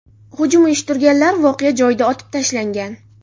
Hujum uyushtirganlar voqea joyida otib tashlangan.